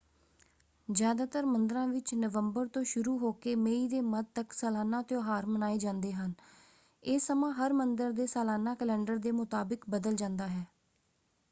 ਜ਼ਿਆਦਾਤਰ ਮੰਦਰਾਂ ਵਿੱਚ ਨਵੰਬਰ ਤੋਂ ਸ਼ੁਰੂ ਹੋਕੇ ਮਈ ਦੇ ਮੱਧ ਤੱਕ ਸਾਲਾਨਾ ਤਿਉਹਾਰ ਮਨਾਏ ਜਾਂਦੇ ਹਨ ਇਹ ਸਮਾਂ ਹਰ ਮੰਦਰ ਦੇ ਸਾਲਾਨਾ ਕੈਲੰਡਰ ਦੇ ਮੁਤਾਬਕ ਬਦਲ ਜਾਂਦਾ ਹੈ।